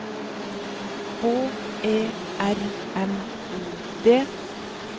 H E R M O D